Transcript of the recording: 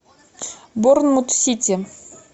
борнмут сити